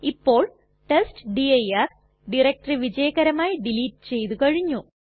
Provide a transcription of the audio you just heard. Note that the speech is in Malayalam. ഇപ്പോൾ ടെസ്റ്റ്ഡിർ ഡയറക്ടറി വിജയകരമായി ഡിലീറ്റ് ചെയ്തു കഴിഞ്ഞു